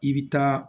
I bɛ taa